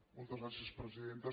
moltes gràcies presidenta